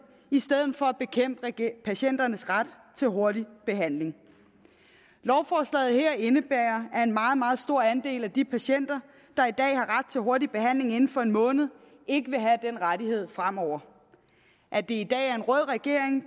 i stedet for at bekæmpe patienternes ret til hurtig behandling lovforslaget her indebærer at en meget meget stor andel af de patienter der i dag har ret til hurtig behandling inden for en måned ikke vil have den rettighed fremover at det i dag er en rød regering